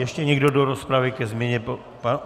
Ještě někdo do rozpravy ke změně?